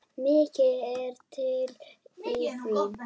Mikið er til í því.